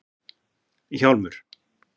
Hjálmur